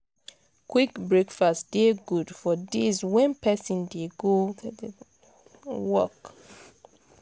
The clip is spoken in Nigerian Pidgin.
quick breakfast dey good for days wen pesin dey go work.